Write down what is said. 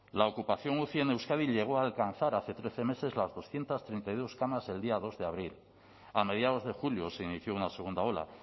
la ocupación uci en euskadi llegó a alcanzar hace trece meses las doscientos treinta y dos camas el día dos de abril a mediados de julio se inició una segunda ola